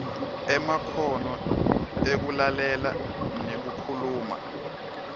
emakhono ekulalela nekukhuluma